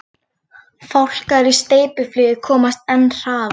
Fálkar í steypiflugi komast enn hraðar.